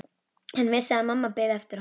Hann vissi að mamma biði eftir honum.